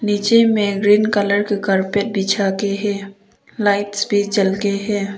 नीचे में green colour का कारपेट बिछा के है लाइट्स भी जल के है।